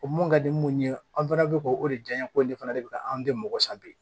O mun ka di mun ye an fana bɛ k'o de janɲa ko de fana de bɛ ka anw den mɔgɔ san bi